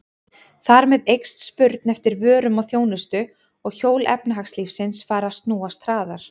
Þar með eykst spurn eftir vörum og þjónustu og hjól efnahagslífsins fara að snúast hraðar.